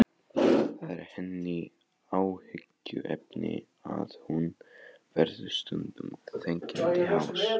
Það er henni áhyggjuefni að hún verður stundum þegjandi hás.